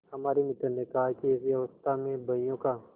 हमारे मित्र ने कहा कि ऐसी अवस्था में बहियों का